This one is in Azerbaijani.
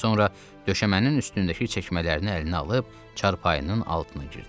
Sonra döşəmənin üstündəki çəkmələrini əlinə alıb çarpayının altına girdi.